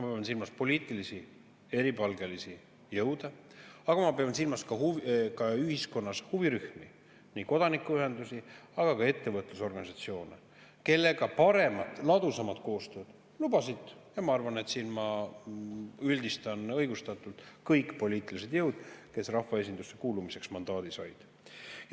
Ma pean silmas eripalgelisi poliitilisi jõude, aga ma pean silmas ka ühiskonna huvirühmi ning kodanikuühendusi, aga ka ettevõtlusorganisatsioone, kellega paremat ja ladusamad koostööd lubasid – ma arvan, et siin ma üldistan õigustatult – kõik poliitilised jõud, kes rahvaesindusse kuulumiseks mandaadi said.